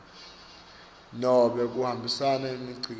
nobe kuhambisa imikhicito